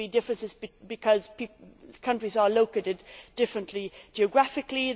There will be differences because countries are located differently, geographically